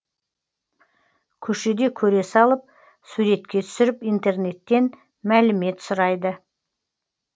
көшеде көре салып суретке түсіріп интернеттен мәлімет сұрайды